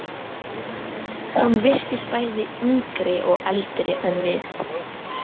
Hún virtist bæði yngri og eldri en við.